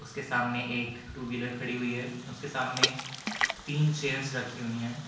के सामने एक टू व्हीलर खड़ी हुई है उसके सामने तीन चेयर्स रखी हुई हैं।